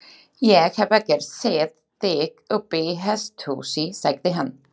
Ég hef ekkert séð þig uppi í hesthúsi, sagði hann.